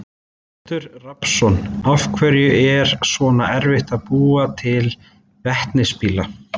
Oddur Rafnsson: Af hverju er svona erfitt að búa til vetnisbíla?